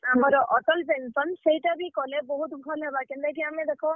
ଆମର୍ Atal Pension ସେଟା ବି କଲେ ବହୁତ୍ ଭଲ୍ ହେବା କେନ୍ତା କି ଆମେ ଦେଖ।